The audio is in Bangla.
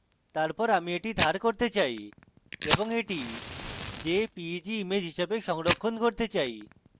তারপর আমি এটি ধার করতে চাই এবং এটি jpeg image হিসাবে সংরক্ষণ করতে চাই